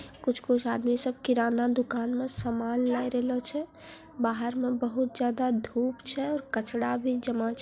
कुछ-कुछ आदमी सब किराना दुकान में सामान ले रहला छे | बाहर में बहोत ज्यादा धुप छे और कचड़ा भी जमा --